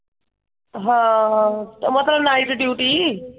ਹਾਂ ਤੇ ਮਤਲਬ ਨਾਈਟ ਡੀਯੂਟੀ ।